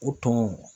U tun